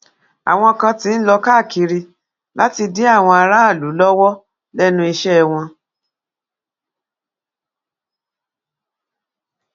àwọn kan ti ń lọ káàkiri láti dí àwọn aráàlú lọwọ lẹnu iṣẹ wọn